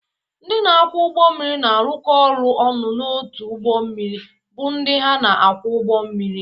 Ndị na-akwọ ụgbọ mmiri na-arụkọ ọrụ ọnụ n’otu ụgbọ mmiri bụ ndị ha na-akwọ ụgbọ mmiri.